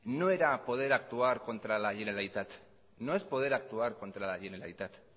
no era poder actuar contra la generalitat no es poder actuar contra la generalitat